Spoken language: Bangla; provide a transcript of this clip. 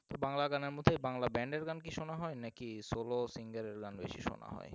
বাংলা গানের মধ্যে বাংলা band এর গান কি শোনা হয় নাকি solo singer এর গান বেশি শোনা হয়?